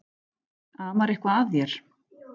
Amar eitthvað að þér?